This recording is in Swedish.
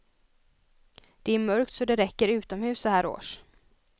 Det är mörkt så det räcker utomhus så här års.